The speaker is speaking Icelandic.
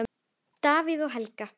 Davíð og Helga.